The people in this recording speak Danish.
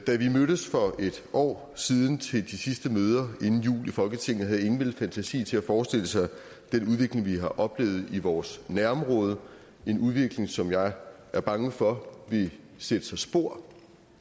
mødtes for et år siden til de sidste møder inden jul i folketinget havde ingen vel fantasi til at forestille sig den udvikling vi har oplevet i vores nærområde en udvikling som jeg er bange for vil sætte sig spor